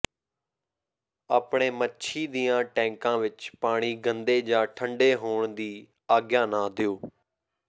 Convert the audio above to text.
ਆਪਣੇ ਮੱਛੀ ਦੀਆਂ ਟੈਂਕਾਂ ਵਿਚ ਪਾਣੀ ਗੰਦੇ ਜਾਂ ਠੰਢੇ ਹੋਣ ਦੀ ਆਗਿਆ ਨਾ ਦਿਓ